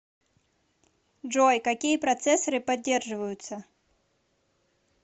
джой какие процессоры поддерживаются